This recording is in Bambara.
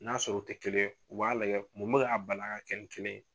N'a sɔrɔ u tɛ kelen ye u b'a lajɛ mun bɛ ka bali a ka kɛ kelen ye.